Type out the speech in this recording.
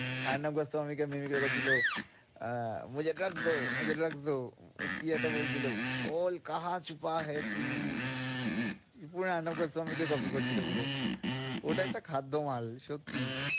স্বামীকে করছিলো আহ কি বলছিলো পুরো স্বামীকে copy করছিলো পুরো ওটা একটা খাদ্যমাল।